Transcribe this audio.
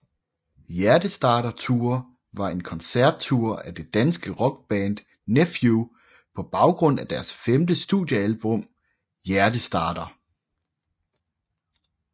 Hjertestarter Tour var en koncert tour af det danske rockband Nephew på baggrund af deres femte studiealbum Hjertestarter